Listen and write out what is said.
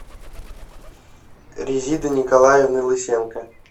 резиды николаевны лысенко